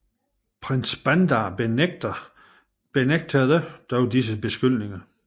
Prins Bandar benægtede dog disse beskyldninger